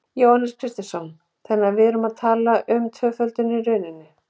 Jóhannes Kristjánsson: Þannig að við erum að tala um tvöföldun í rauninni?